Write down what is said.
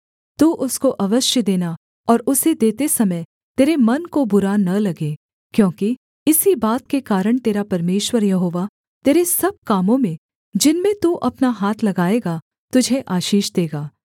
तू उसको अवश्य देना और उसे देते समय तेरे मन को बुरा न लगे क्योंकि इसी बात के कारण तेरा परमेश्वर यहोवा तेरे सब कामों में जिनमें तू अपना हाथ लगाएगा तुझे आशीष देगा